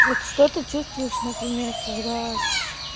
вот что ты чувствуешь например когда